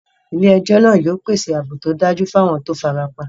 Ilé ejó náà yio pèsè ààbò tódájú fún àwon to farapa